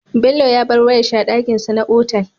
Bello ya bar wayar shi a dakin sa na otal